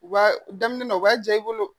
U b'a daminɛ u b'a diya i bolo